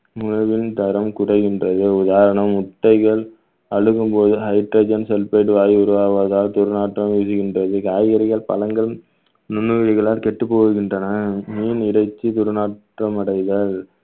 உணவின் தரம் குறைகின்றது உதாரணம் முட்டைகள் அழுகும்போது hydrogen sulphate வாயு உருவாவதால் துர்நாற்றம் வீசுகின்றது காய்கறிகள் பழங்கள் கெட்டப் போகின்றன மீன் இறைச்சி துர்நாற்றம் அடைதல்